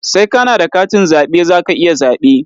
Sai ka na da katin zaɓe za ka iya zaɓe.